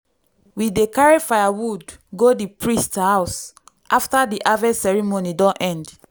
we dey carry firewood go di priest house after di harvest ceremony don end.